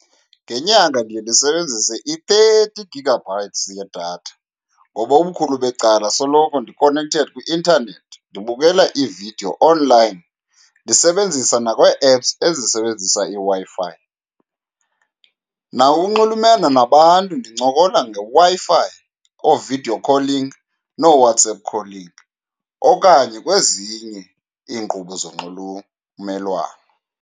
Ngenyanga ndiye ndisebenzise i-thirty gigabytes yedatha ngoba ubukhulu becala soloko ndi-connected kwi-intanethi, ndibukela iividiyo onlayini, ndisebenzisa nakwe-apps ezisebenzisa iWi-Fi. Nakunxulumena nabantu ndincokola ngeWi-Fi, oo-video calling nooWhatsApp calling okanye kwezinye iinkqubo zonxulumelwano.